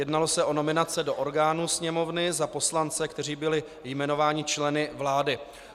Jednalo se o nominace do orgánů Sněmovny za poslance, kteří byli jmenováni členy vlády.